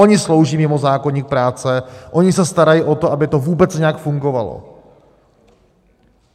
Oni slouží mimo zákoník práce, oni se starají o to, aby to vůbec nějak fungovalo.